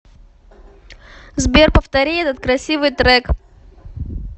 сбер повтори этот красивый трек